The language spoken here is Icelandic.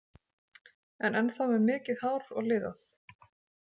En ennþá með mikið hár og liðað.